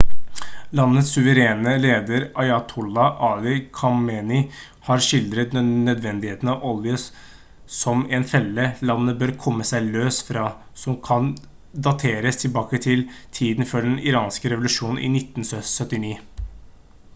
landets suverene leder ayatollah ali khamenei har skildret nødvendigheten av olje som «en felle» landet bør komme seg løs fra som kan dateres tilbake til tiden før den iranske revolusjonen i 1979